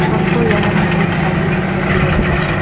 हमको यहां में एक थाली दिखाई दे रहा है।